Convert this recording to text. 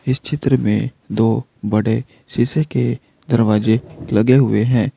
इस चित्र में दो बड़े शीशे के दरवाजे लगे हुए हैं।